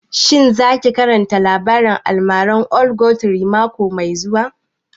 Shin za ki karanta labarin almaran old ogre mako mai zuwa?